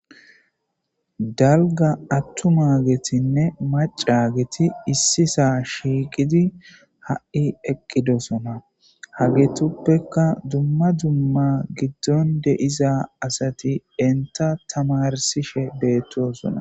Dalga attuma getinne maca geti issisa shiiqidi ha'i eqqidosona hagetuppeka dumma dumma giddon deiza asati enta tamarsishe beettosona.